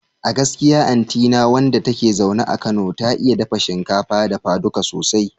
A gaskiya anti na wanda take zaune a Kano, ta iya dafa shinkafa dafaduka sosai